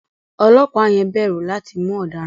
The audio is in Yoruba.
Ọlọ́pàá yẹn bẹ̀rù láti mú ọ̀daràn.